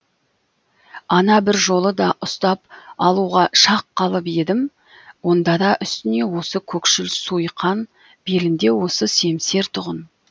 ана бір жолы да ұстап алуға шақ қалып едім онда да үстіне осы көкшіл суйқан белінде осы семсер тұғын